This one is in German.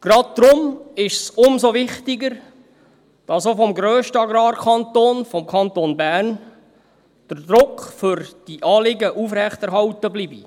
Gerade deshalb ist es umso wichtiger, dass auch vom grössten Agrarkanton, vom Kanton Bern, der Druck für diese Anliegen aufrechterhalten bleibt.